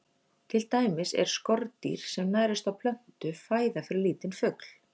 Til dæmis er skordýr sem nærist á plöntu fæða fyrir lítinn fugl.